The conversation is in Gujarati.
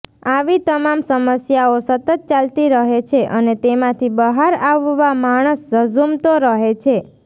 આવી તમામ સમસ્યાઓ સતત ચાલતી રહે છે અને તેમાંથી બહાર આવવા માણસ ઝઝુમતો રહે છે